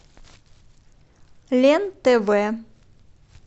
лен тв